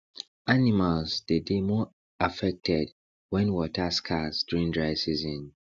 animals dey dey more affected wen water scarce during dry season